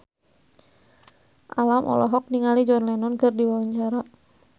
Alam olohok ningali John Lennon keur diwawancara